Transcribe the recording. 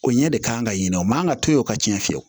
O ɲɛ de kan ka ɲinɛ o man kan ka to yen o ka tiɲɛ